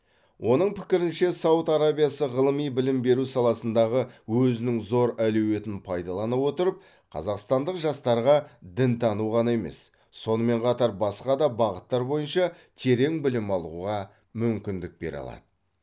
оның пікірінше сауд арабиясы ғылыми білім беру саласындағы өзінің зор әлеуетін пайдалана отырып қазақстандық жастарға дінтану ғана емес сонымен қатар басқа да бағыттар бойынша терең білім алуға мүмкіндік бере алады